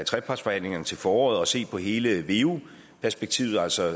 trepartsforhandlingerne til foråret og vil se på hele veu perspektivet altså